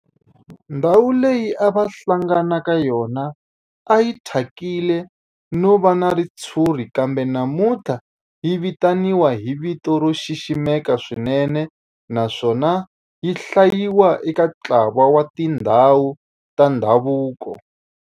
Ndhawu leyi a va hlangana ka yona a yi thyakile no va na ritshuri kambe namuntlha yi vitaniwa hi vito ro xiximeka swinene naswona yi hlayiwa eka ntlawa wa tindhawu ta ndhavuko.